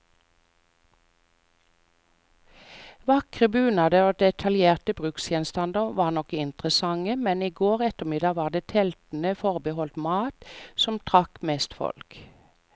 Vakre bunader og detaljerte bruksgjenstander var nok interessante, men i går ettermiddag var det teltene forbeholdt mat, som trakk mest folk.